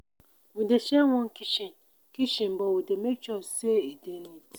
we dey share one kitchen kitchen but we dey make sure sey e dey neat.